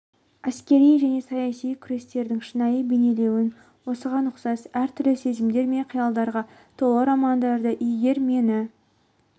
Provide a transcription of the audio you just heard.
әскери және саяси күрестердің шынайы бейнеленуін осыған ұқсас әр-түрлі сезімдер мен қиялдарға толы романдарды егер мені